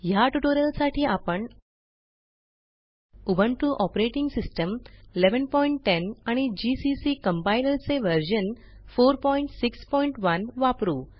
ह्या ट्युटोरियलसाठी आपण उबुंटू ऑपरेटिंग सिस्टम 1110 आणि जीसीसी कंपाइलर चे व्हर्शन 461 वापरू